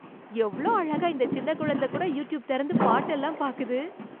எவ்ளோ அழகா இந்த சின்னக் குழந்தை கூட யூட்யூப் திறந்து பாட்டெல்லாம் பாக்குது.